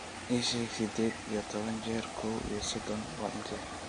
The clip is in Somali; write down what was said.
ii sheeg siddeed iyo toban jeer kow iyo soddon waa intee